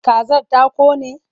Kazar ta ƙone?